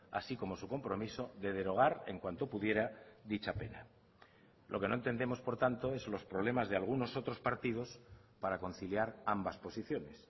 así como su compromiso de derogar en cuanto pudiera dicha pena lo que no entendemos por tanto es los problemas de algunos otros partidos para conciliar ambas posiciones